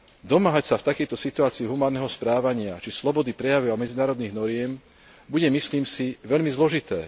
Domáhať sa v takejto situácii humánneho správania či slobody prejavu a medzinárodných noriem bude, myslím si, veľmi zložité.